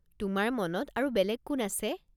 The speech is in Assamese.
তোমাৰ মনত আৰু বেলেগ কোন আছে?